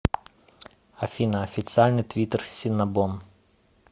афина официальный твиттер синнабон